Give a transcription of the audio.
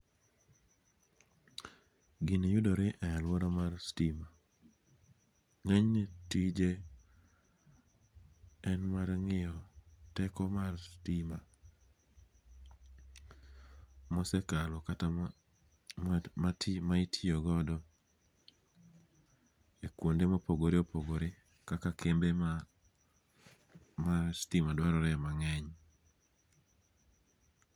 Gini yudore e aluora mar stima, nge'nyne tije en mar ngi'yo teko mar stima, mosekalo kata ma itiyogodo e kuonde ma opogore opogore kaka kembe ma stima dwarore e mange'ny.